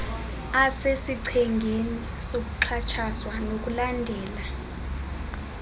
asesichengeni sokuxhatshazwa nokulandela